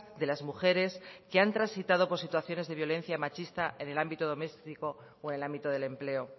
de las mujeres que han transitado por situaciones de violencia machista en el ámbito doméstico o en el ámbito del empleo